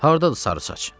Hardadır sarı saç?